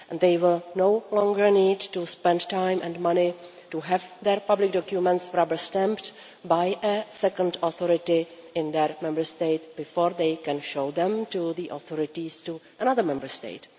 They will no longer need to spend time and money to have their public documents rubber stamped by a second authority in their Member State before they can show them to the authorities of another Member State.